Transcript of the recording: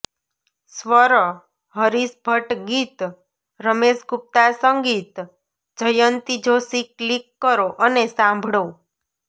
સ્વરઃ હરીશ ભટ્ટ ગીતઃ રમેશ ગુપ્તા સંગીતઃ જયંતી જોશી ક્લીક કરો અને સાંભળોઃ